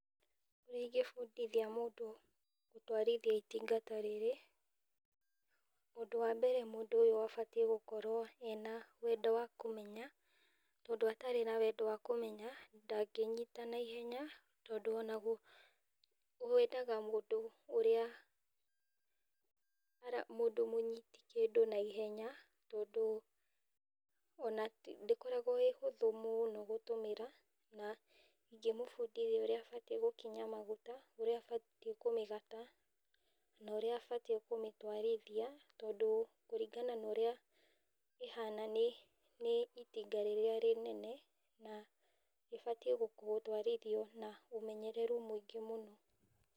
Ũrĩa ingĩbundithia mũndũ gũtwarithia itinga ta rĩrĩ , ũndũ wa mbere mũndũ abatiĩ gũkorwo ena wendo wa kũmenya, tondũ atarĩ na wendo wa kũmenya ndagĩnyita na ihenya tondũ ona wendaga mũndũ ũrĩa mũndũ mũnyiti kĩndũ na ihenya, tondũ ona ndĩkoragwo ĩ hũthũ mũno gũtũmĩra na ingĩmũbundithia ũrĩa abatiĩ gũkinya magũta, ũrĩa abatiĩ kũmĩgata na ũrĩa abatiĩ kũmĩtwarithia tondũ kũringana na ũrĩa ĩhana nĩ itinga rĩrĩa rĩnene, na rĩbatiĩ gũtwarithio na ũmenyereru mũingĩ mũno.